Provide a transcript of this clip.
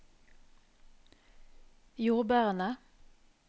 jordbærene